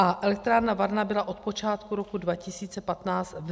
A elektrárna Varna byla od počátku roku 2015 v neprovozovaném stavu.